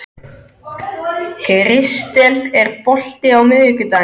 Kristel, er bolti á miðvikudaginn?